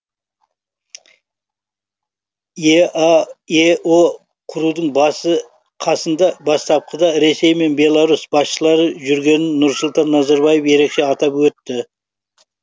еаэо құрудың басы қасында бастапқыда ресей мен беларусь басшылары жүргенін нұрсұлтан назарбаев ерекше атап өтті